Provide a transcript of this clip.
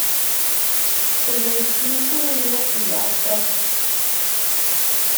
принесите мне завтрак